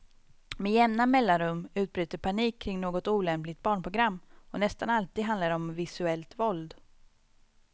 Med jämna mellanrum utbryter panik kring något olämpligt barnprogram, och nästan alltid handlar det om visuellt våld.